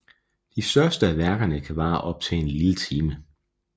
De største af værkerne kan vare op til en lille time